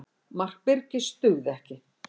Mark Birkis dugði ekki